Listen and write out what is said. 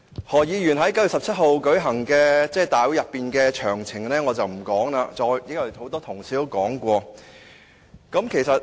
何議員在9月17日舉行的集會上曾做甚麼，我不再詳細複述，因為很多同事已經說過。